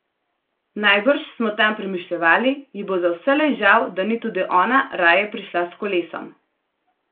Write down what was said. Najbrž, smo tam premišljevali, ji bo za vselej žal, da ni tudi ona raje prišla s kolesom.